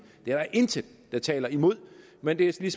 det er der intet der taler imod men det